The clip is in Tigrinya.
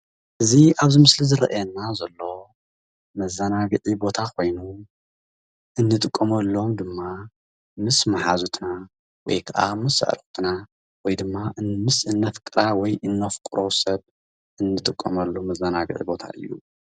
እዚ ኣብዚ ምስሊ ዝረኣየና ዘሎ መዘናጊዒ ኮይኑ እንጥቀመሎም ድማ ምስ ማሓዙትና ወይ ከኣ ምስ ኣዕርክትና ኮይና ምስ እንፍቅራ ወይ እንፍቅሮ ሰብ እንጥቀመሉ መዛናግዒ ቦታ እዩ።